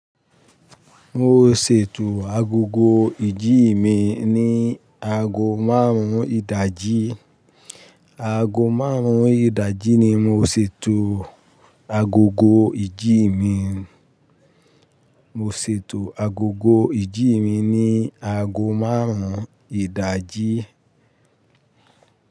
Mo ṣètò agogo ìjí mi ní ago márùn-ún ìdájí. Ago márùn-ún ìdájí ni mo ṣètò agogo ìdí mi. Mo ṣètò agogo ìdí mi ní ago márùn-ún ìdájí.